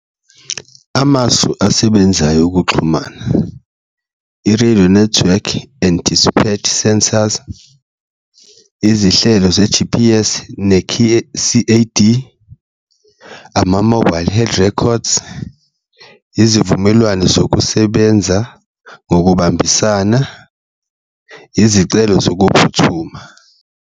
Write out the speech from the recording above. Amasu asebenzayo okuxhumana i-radio network and sensors, izihlelo ze-G_P_S, C_A_D, ama-mobile head records, izivumelwano zokusebenza ngokubambisana, izicelo zokuphuthuma.